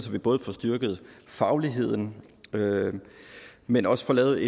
vi både får styrket fagligheden men også får lavet